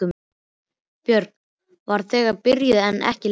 Björg var þegar byrjuð en ekki Linda.